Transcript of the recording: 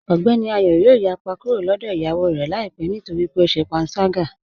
Ogbẹ́ni Ayọ̀ yoo yàpá kúrò lọ́dọ̀ iyáwó rẹ laipẹ̀ nítorí pé ọ ṣè pànságá